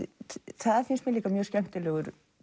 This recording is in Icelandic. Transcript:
það finnst mér líka mjög skemmtilegur